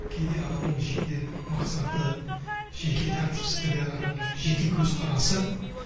кейде адамның жеке мақсаты жеке тәртіпсіздігі адамның жеке көзқарасы